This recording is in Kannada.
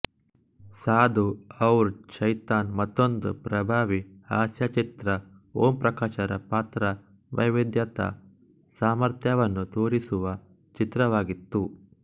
ಸಾಧು ಔರ್ ಶೈತಾನ್ ಮತ್ತೊಂದು ಪ್ರಭಾವಿ ಹಾಸ್ಯಚಿತ್ರ ಓಂಪ್ರಕಾಶರ ಪಾತ್ರವೈವಿಧ್ಯತಾಸಾಮರ್ಥ್ಯವನ್ನು ತೋರಿಸುವ ಚಿತ್ರವಾಗಿತ್ತು